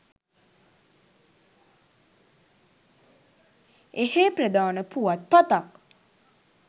එහේ ප්‍රධාන පුවත් පතක්